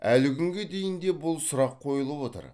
әлі күнге дейін де бұл сұрақ қойылып отыр